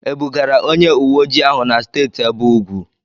E bugara onye uwe ojii ahụ na Steeti ebe ugwu?